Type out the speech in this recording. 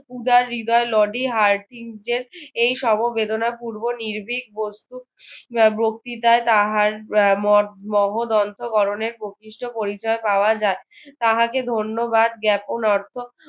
উদার হৃদয় লডি এই সমবেদনাপূর্ব নির্ভিক বস্তূ বক্ত্রিতায় তাহার ম~ মহোদন্ত গড়নের প্রকৃষ্ট পরিচয় পাওয়া যাই তাহাকে ধন্যবাদ জ্ঞাপন অর্থ